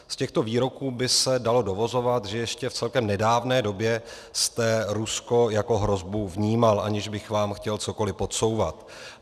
Z těchto výroků by se dalo dovozovat, že ještě v celkem nedávné době jste Rusko jako hrozbu vnímal, aniž bych vám chtěl cokoli podsouvat.